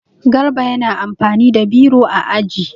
Garba yana amfani da biro a aji.